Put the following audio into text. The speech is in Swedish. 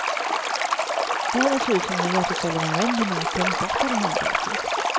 Världen ser ut som den gör till följd av en oändlig mängd slumpartade händelser.